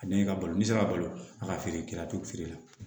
A ne ka balo n'i sera ka balo a ka feere kɛ a to feere la